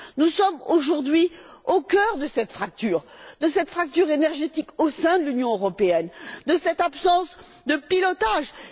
Nous sommes, aujourd'hui, au cœur de cette fracture énergétique au sein de l'Union européenne, de cette absence de pilotage.